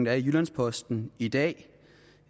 er i jyllands posten i dag